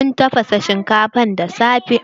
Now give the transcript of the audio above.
Mun tafasa shinkafa da safe.